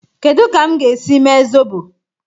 Kedu ka m ga-esi mee zobo?